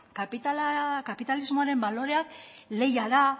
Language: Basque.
kapitalismoaren baloreak lehia da